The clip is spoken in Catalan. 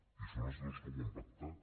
i són els dos que ho han pactat